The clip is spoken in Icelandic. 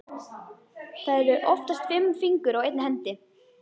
Það eru oftast fimm fingur á einni hendi.